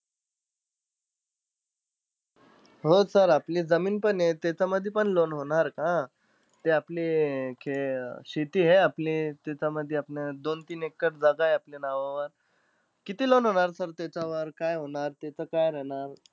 हो sir आपली जमीनपण आहे त्याच्यामधी पण loan होणार का? ते आपली अं शेती आहे आपली त्याच्यामध्ये, आपली दोन-तीन एकर जागा आहे आपल्या नावावर. किती loan होणार sir त्याच्यावर? काय होणार, त्याचं काय राहणार?